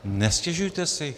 Nestěžujte si.